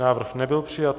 Návrh nebyl přijat.